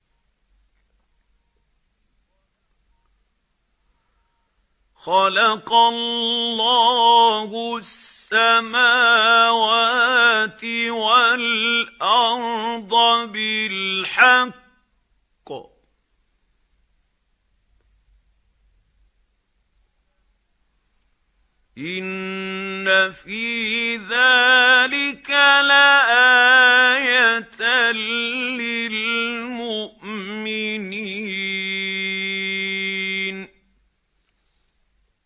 خَلَقَ اللَّهُ السَّمَاوَاتِ وَالْأَرْضَ بِالْحَقِّ ۚ إِنَّ فِي ذَٰلِكَ لَآيَةً لِّلْمُؤْمِنِينَ